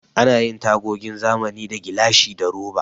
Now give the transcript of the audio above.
Ana yin tagogin zamani da gilashi da roba.